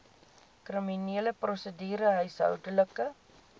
kriminele prosedure huishoudelike